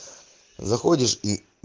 заходишь и